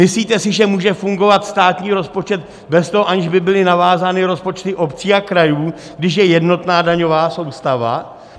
Myslíte si, že může fungovat státní rozpočet bez toho, aniž by byly navázány rozpočty obcí a krajů, když je jednotná daňová soustava?